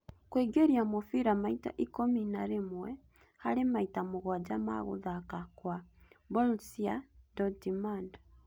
Kũingĩria mũbira maita ikũmi na rĩmwe harĩ maita mũgwanja ma gũthaka kwa Borussia Dortmund.